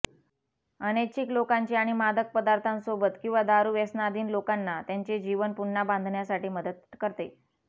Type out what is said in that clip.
अनैच्छिक लोकांची आणि मादक पदार्थांसोबत किंवा दारू व्यसनाधीन लोकांना त्यांचे जीवन पुन्हा बांधण्यासाठी मदत करते